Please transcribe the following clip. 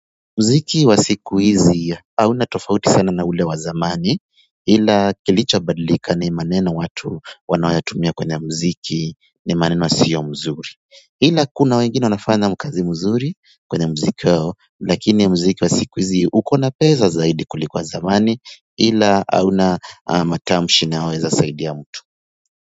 Mziki wa siku hizi hauna tofauti sana na ule wa zamani ila kilichobadilika ni maneno watu wanaoyatumia kwenye mziki ni maneno sio mzuri ila kuna wengine wanafanya kazi mzuri kwenye mziki wao lakini mziki wa siku hizi uko na pesa zaidi kuliko wa zamani ila hauna matamshi inayoweza saidia mtu.